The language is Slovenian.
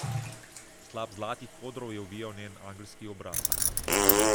Slap zlatih kodrov je ovijal njen angelski obraz.